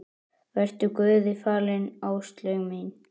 Vertu Guði falin, Áslaug mín.